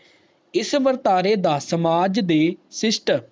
ਇਸ ਵਰਤਾਰੇ ਦਾ ਸਮਾਜ ਦੇ ਸ਼ਿਸ਼ਟ